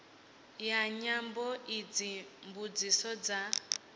ya nyambo idzi mbudziso dza